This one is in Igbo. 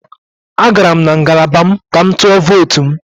Agara m na ngalaba m ka m tụọ votu m